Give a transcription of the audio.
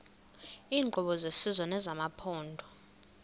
iinkqubo zesizwe nezamaphondo